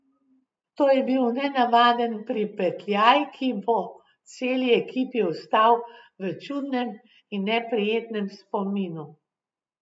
To je bil nenavaden pripetljaj, ki bo celi ekipi ostal v čudnem in neprijetnem spominu.